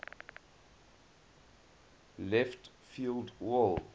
left field wall